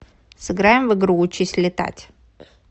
сыграем в игру учись летать